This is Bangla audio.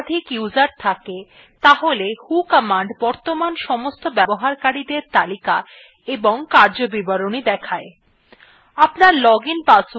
যদি আপনার সিস্টমa একাধিক user থাকে তাহলে who command বর্তমান সমস্ত ব্যবহারকারীদের তালিকা এবং কার্যবিবরণী দেখায়